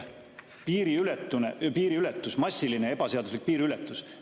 massilisest ebaseaduslikust piiriületusest.